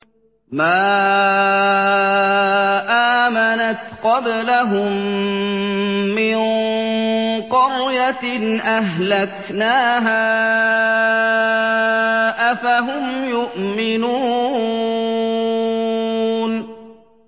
مَا آمَنَتْ قَبْلَهُم مِّن قَرْيَةٍ أَهْلَكْنَاهَا ۖ أَفَهُمْ يُؤْمِنُونَ